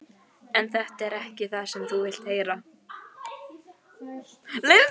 En þetta er ekki það sem þú vilt heyra.